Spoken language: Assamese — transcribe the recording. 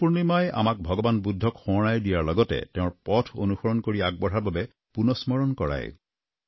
বুদ্ধ পূৰ্ণিমাই আমাক ভগৱান বুদ্ধক সোঁৱৰাই দিয়াৰ লগতে তেওঁৰ পথ অনুসৰণ কৰি আগবঢ়াৰ বাবে অনুস্মৰণ কৰায়